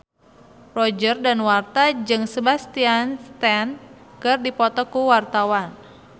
Roger Danuarta jeung Sebastian Stan keur dipoto ku wartawan